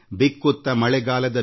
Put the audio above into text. ಬಿಕ್ಕುವ ಮಳೆಗಾಲದಲ್ಲಿ